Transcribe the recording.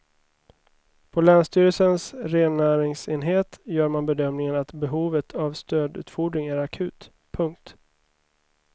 På länsstyrelsens rennäringsenhet gör man bedömningen att behovet av stödutfodring är akut. punkt